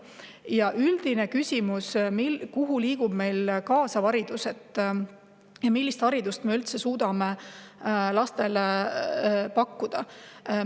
Ja üldine küsimus: mis suunas liigub meil kaasav haridus ja millist haridust me üldse suudame lastele pakkuda?